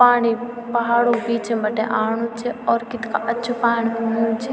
पाणी पहाडू क बीचं बटे आणु च और कित्गा अच्छू पाणी हुंयु च।